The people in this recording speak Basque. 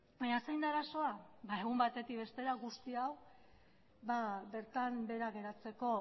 baina zein da arazoa ba egun batetik bestera guzti hau bertan behera geratzeko